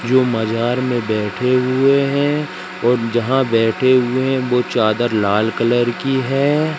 जो मजार में बैठे हुए हैं और जहां बैठे हुए हैं वो चादर लाल कलर की है।